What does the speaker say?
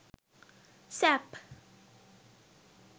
sap